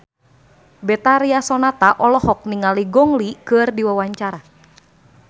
Betharia Sonata olohok ningali Gong Li keur diwawancara